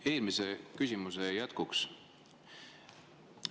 Eelmise küsimuse jätkuks.